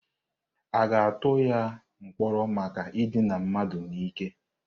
A ga-atụba ya mkpọrọ maka idina mmadụ n'ike?